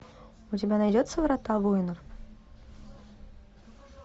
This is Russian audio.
у тебя найдется врата воинов